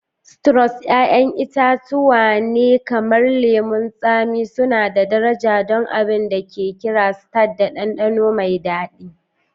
Sitrus 'ya'yan itatuwa ne kamar lemun tsami suna da daraja don abin da ake kira tart da dandano mai daɗi.